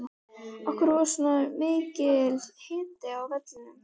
Af hverju var svona mikill hiti á vellinum?